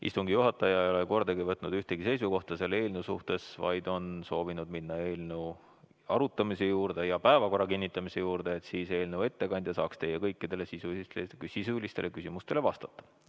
Istungi juhataja ei ole kordagi võtnud ühtegi seisukohta selle eelnõu suhtes, vaid on soovinud minna päevakorra kinnitamise ja eelnõu arutamise juurde, et eelnõu ettekandja saaks kõikidele teie sisulistele küsimustele vastata.